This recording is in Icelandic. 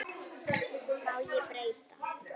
Má ég breyta?